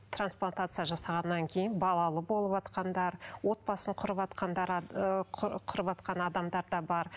трансплантация жасағаннан кейін балалы болыватқандар отбасын құрыватқандар құрыватқан адамдар да бар